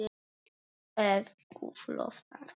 Ef Guð lofar.